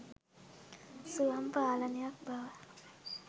ස්වයං පාලනයක් බව